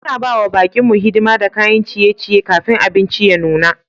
Muna ba wa baƙi mu hidima da kayan ciye-ciye kafin abinci ya nuna.